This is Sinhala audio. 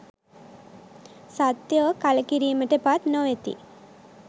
සත්වයෝ කලකිරීමට පත් නොවෙති.